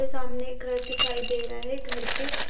सामने एक घर दिखाई दे रहा है घर के--